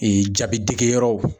jabidegeyɔrɔw.